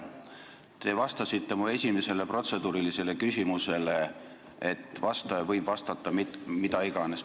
Te vastasite mu esimesele protseduurilisele küsimusele, et vastaja võib vastata mida iganes.